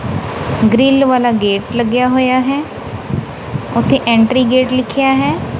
Grill ਵਾਲਾ gate ਲੱਗਿਆ ਹੋਇਆ ਹੈ ਉਹਤੇ ਐਂਟਰੀ ਗੇਟ ਲਿਖੇਆ ਹੈ।